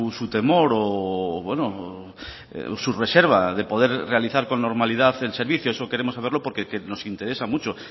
su temor o su reserva de poder realizar con normalidad el servicio eso queremos saberlo porque nos interesa mucho